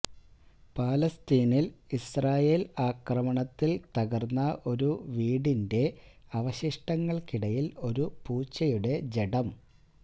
ഫലസ്തീനില് Israel ആക്രമണത്തില് തകര്ന്ന ഒരു വീടിന്റെ അവശിഷ്ടങ്ങള്ക്കിടയില് ഒരു പൂച്ചയുടെ ജഡം